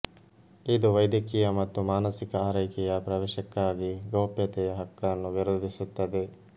ಇದು ವೈದ್ಯಕೀಯ ಮತ್ತು ಮಾನಸಿಕ ಆರೈಕೆಯ ಪ್ರವೇಶಕ್ಕಾಗಿ ಗೌಪ್ಯತೆಯ ಹಕ್ಕನ್ನು ವಿರೋಧಿಸುತ್ತದೆ